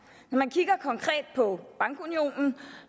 når man kigger konkret på bankunionen